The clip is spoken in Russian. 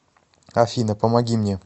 афина помоги мне